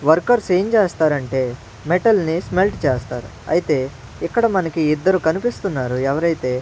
workers ఏం చేస్తారంటే మెటల్ని స్మెల్ట్ చేస్తారు అయితే ఇక్కడ మనకి ఇద్దరు కనిపిస్తున్నారు ఎవరైతే --